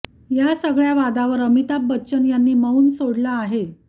या सगळ्या वादावर अमिताभ बच्चन यांनी मौन सोडलं आहे